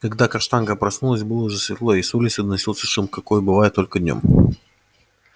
когда каштанка проснулась было уже светло и с улицы доносился шум какой бывает только днём